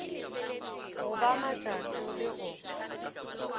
go ba matšato le go